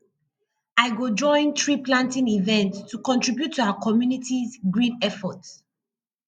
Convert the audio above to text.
i go join treeplanting events to contribute to our communitys green efforts